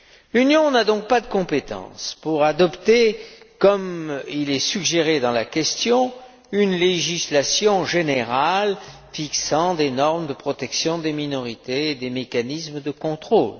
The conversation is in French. L'Union n'a donc pas de compétences pour adopter, comme il est suggéré dans la question, une législation générale fixant des normes de protection des minorités et des mécanismes de contrôle.